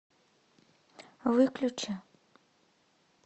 выключи